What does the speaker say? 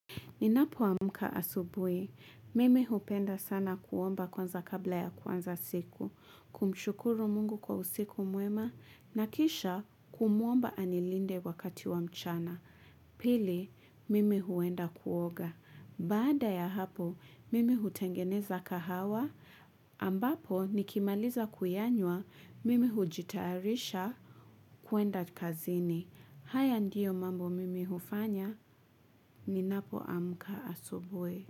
Ninapoamka asubuhi, mimi hupenda sana kuomba kwanza kabla ya kuanza siku. Kumshukuru Mungu kwa usiku mwema, na kisha kumuomba anilinde wakati wa mchana. Pili, mimi huenda kuoga. Baada ya hapo, mimi hutengeneza kahawa, ambapo nikimaliza kuyanywa, mimi hujitayarisha kuenda kazini. Haya ndiyo mambo mimi hufanya ninapoamka asubuhi.